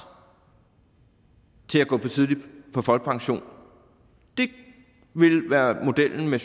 til at gå tidligt på folkepension det ville være modellen med